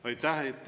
Aitäh!